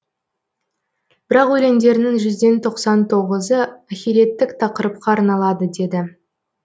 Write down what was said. бірақ өлеңдерінің жүзден тоқсан тоғызы ахиреттік тақырыпқа арналады деді